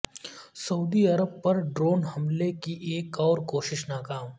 سعودی عرب پر ڈرون حملے کی ایک اور کوشش ناکام